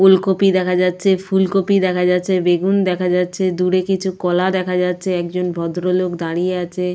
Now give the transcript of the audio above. ওলকপি দেখা যাচ্ছে। ফুলকপি দেখা যাচ্ছে। বেগুন দেখা যাচ্ছে। দূরে কিছু কলা দেখা যাচ্ছে। একজন ভদ্রলোক দাঁড়িয়ে আছে।